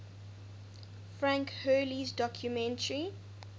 frank hurley's documentary